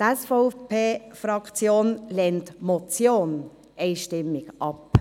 Die SVP-Fraktion lehnt die Motion einstimmig ab.